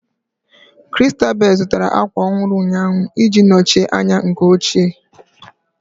Christabel zụtara ákwà ọhụrụ ụnyaahụ ị ji nọchie anya nke ochie